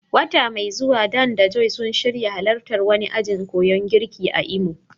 Wata mai zuwa, Dan da Joy suna shirin halartar wani ajin koyan girki a Imo.